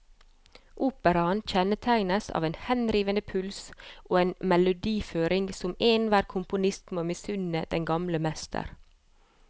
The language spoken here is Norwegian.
Operaen kjennetegnes av en henrivende puls og en melodiføring som enhver komponist må misunne den gamle mester.